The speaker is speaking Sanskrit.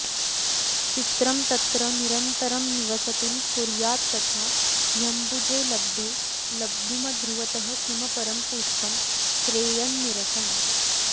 चित्रं तत्र निरन्तरं निवसतिं कुर्यात्तथा ह्यम्बुजे लब्धे लुब्धमधुव्रतः किमपरं पुष्पं श्रयेन्नीरसम्